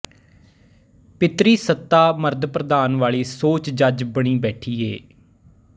ਪਿਤਰੀ ਸੱਤਾ ਮਰਦ ਪ੍ਰਧਾਨ ਵਾਲੀ ਸੋਚ ਜੱਜ ਬਣੀ ਬੈਠੀ ਏ